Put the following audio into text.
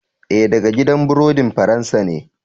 Ee, daga gidan burodin Faransa ne.